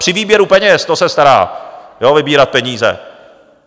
Při výběru peněz, to se stará, jo, vybírat peníze.